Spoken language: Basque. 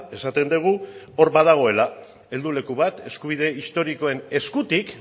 esaten dugu hor badagoela helduleku bat eskubide historikoen eskutik